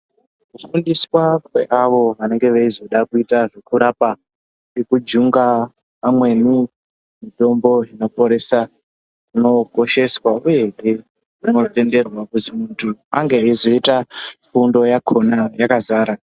Kufundiswa kweavo vanenge veizoda kuita zvekurapa nekujunga amweni mitombo inoporesa ,kunokosheswa ,uyehe kunotenderwa kuzi muntu ange eizoita fundo yakona yakazara.